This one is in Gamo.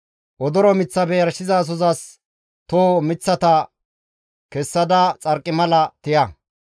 Odoro miththafe yarshizasozas tooho miththata kessada xarqimala tiya.